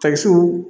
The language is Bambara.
Takisiw